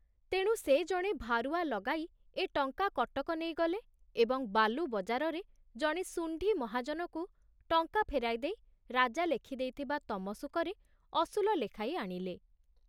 ତେଣୁ ସେ ଜଣେ ଭାରୁଆ ଲଗାଇ ଏ ଟଙ୍କା କଟକ ନେଇଗଲେ ଏବଂ ବାଲୁବଜାରରେ ଜଣେ ଶୁଣ୍ଢି ମହାଜନକୁ ଟଙ୍କା ଫେରାଇଦେଇ ରାଜା ଲେଖିଦେଇଥିବା ତମସୁକରେ ଅସୁଲ ଲେଖାଇ ଆଣିଲେ।